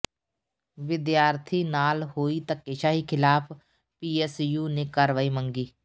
ਵਿਦਿਆਰਥੀ ਨਾਲ ਹੋਈ ਧੱਕੇਸ਼ਾਹੀ ਖ਼ਿਲਾਫ਼ ਪੀਐਸਯੂ ਨੇ ਕਾਰਵਾਈ ਮੰਗੀ